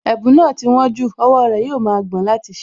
Ẹ̀bùn náà ti wón jù, owó rẹ̀ yóò ma gbọ̀n láti ṣí i